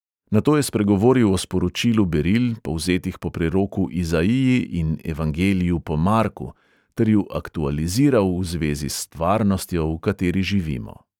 Nato je spregovoril o sporočilu beril, povzetih po preroku izaiji in evangeliju po marku, ter ju aktualiziral v zvezi s stvarnostjo, v kateri živimo.